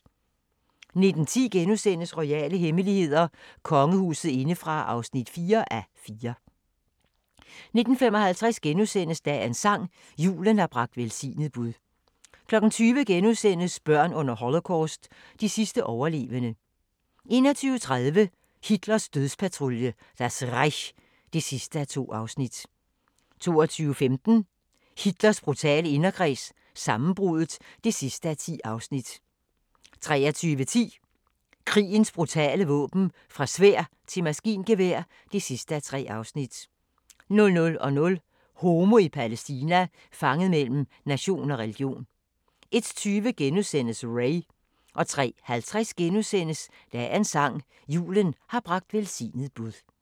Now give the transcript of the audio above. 19:10: Royale hemmeligheder: Kongehuset indefra (4:4)* 19:55: Dagens sang: Julen har bragt velsignet bud * 20:00: Børn under Holocaust – de sidste overlevende * 21:30: Hitlers dødspatrulje – Das Reich (2:2) 22:15: Hitler brutale inderkreds – sammenbruddet (10:10) 23:10: Krigens brutale våben – Fra sværd til maskingevær (3:3) 00:00: Homo i Palæstina – fanget mellem nation og religion 01:20: Ray * 03:50: Dagens sang: Julen har bragt velsignet bud *